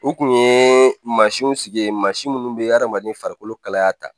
U kun ye maa siw sigi ye maa si munnu be adamaden farikolo kalaya ta